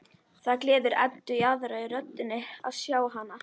Það gleður Eddu í aðra röndina að sjá hann.